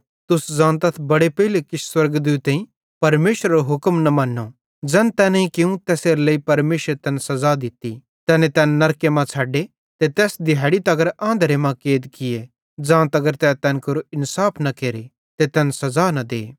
तुस ज़ानतथ बड़े पेइले किछ स्वर्गदूतेईं परमेशरेरो हुक्म न मन्नो ज़ैन तैनेईं कियूं तैसेरेलेइ परमेशरे तैन सज़ा दित्ती तैने तैना नरके मां छ़ड्डे ते तैस दिहैड़ी तगर आंधरे मां कैद किये ज़ांतगर तै तैन केरो इन्साफ न केरे ते तैन सज़ा न दे